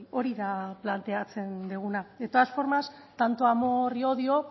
hori da planteatzen duguna de todas formas tanto amor y odio